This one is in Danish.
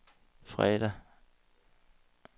fredag